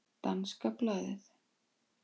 Danska blaðið